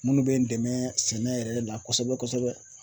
Minnu bɛ n dɛmɛ sɛnɛ yɛrɛ la kosɛbɛ kosɛbɛ